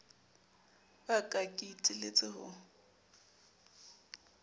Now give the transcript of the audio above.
ba ka ke iteletse ho